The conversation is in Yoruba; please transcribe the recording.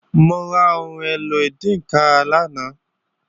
Mo ra ohun èlò ìdínkàrà lánàá